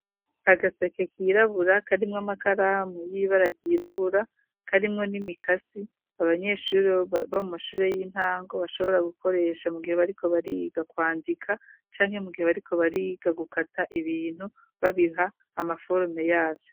Agaseke kirabura karimwo amakaramu y'ibara ry'irabura, karimwo n'imikasi abanyeshuri bo mu mashure y'intango bashobora gukoresha mu gihe bariko bariga kwandika canke mu gihe bariko bariga gukata ibintu babiha amaforume yavyo.